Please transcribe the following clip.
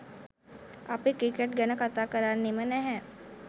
අපි ක්‍රිකට් ගැන කතා කරන්නෙම නැහැ.